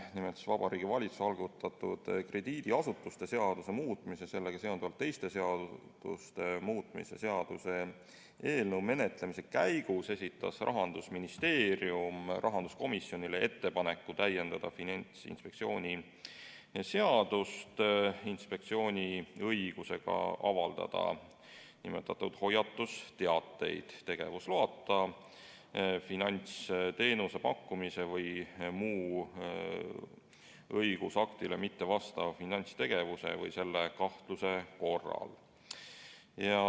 Nimelt, Vabariigi Valitsuse algatatud krediidiasutuste seaduse muutmise ja sellega seonduvalt teiste seaduste muutmise seaduse eelnõu menetlemise käigus esitas Rahandusministeerium rahanduskomisjonile ettepaneku täiendada Finantsinspektsiooni seadust inspektsiooni õigusega avaldada nimetatud hoiatusteateid tegevusloata finantsteenuse pakkumise või muu õigusaktile mittevastava finantstegevuse või selle kahtluse korral.